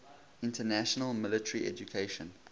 international military education